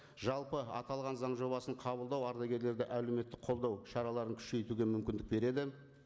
жалпы аталған заң жобасын қабылдау ардагерлерді әлеуметтік қолдау шараларын күшейтуге мүмкіндік береді